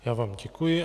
Já vám děkuji.